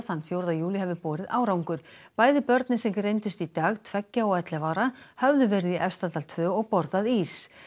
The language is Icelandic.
þann fjórða júlí hafi borið árangur bæði börnin sem greindust í dag tveggja og ellefu ára höfðu verið í Efstadal tvö og borðað ís